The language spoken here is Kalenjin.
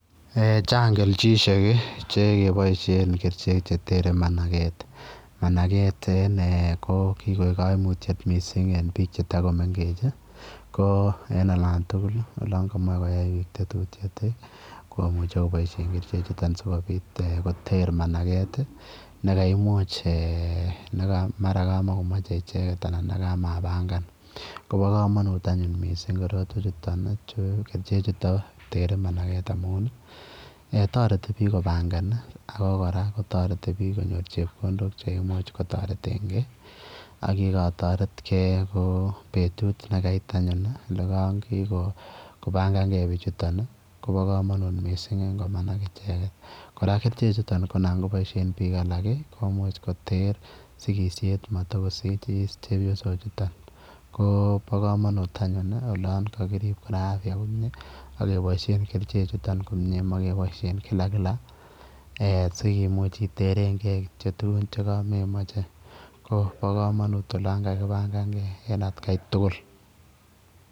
Eeh chaang kelchisheer chekibaisheen ketere managet managet ko ki koeg kaimutiet eng biik che Tako mengeech ko en olaan tugul olaan kamache koyai tetutiet ii komuchei kobaisheen kercheek chutoon sikomuuch ii koteer managet ii nekaimuuch mara ka makimachei ichegeet anan kamapagaan kobaa kamanuut anyuun missing korotwech kercheek chutoon there managet amuun taretii biik , sikomuuch konyoor chepkondook cheimuuch kotareteen kei ak ye katoreet kei ko betut nekait anyuun olaan kikopangaangei bichutoon ii kobaa kamanuut missing eng ingomagaat ichegeet kora kercheek chutoo ko naan kobaisheen biik alaak ii komuuch koter sikisheet mat itakosikis chepyosook chutoon ko bo kamanut anyuun olaan kakiriib kora ak kebaisheen kercheek chutoon komyei Mae kebaisheen kila kila sikomuuch iterengei tuguun chekamemachei koba kamanut olaan kakipangan gei en at gai tugul.